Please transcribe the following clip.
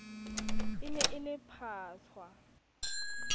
e ne e le phatswa